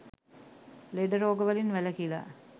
ලෙඩ රෝග වලින් වැළකිලා